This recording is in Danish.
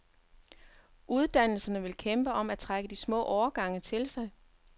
Uddannelserne vil kæmpe om at trække de små årgange til sig.